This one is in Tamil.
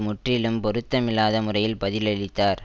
முற்றிலும் பொருத்தமில்லாத முறையில் பதிலளித்தார்